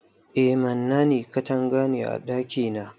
Eh mannani katanga ne a ɗaki na.